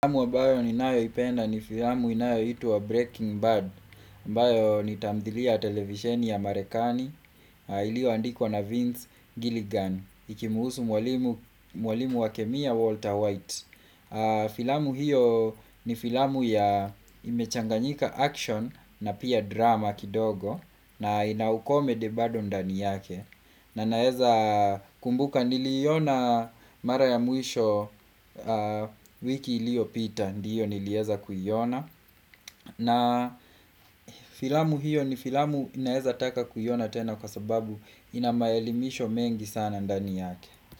Filamu amabayo ninayo ipenda ni filamu inayoitwa Breaking Bad ambayo ni tamthilia ya televisheni ya marekani Ilyo andikwa na Vince Gilligan inayomhusu mwalimu wa kemia Walter White Filamu hiyo ni filamu ambayo imechanganya vitendo na tamthilia kidogo na inaukome debado ndani yake na naeza kumbuka niliiona mara ya mwisho wiki iliyo pita ndiyo niliweza kuiona na filamu hiyo ni filamu ambayo naeza taka kuiona tena kwa sababu inamaelimisho mengi sana ndani yake.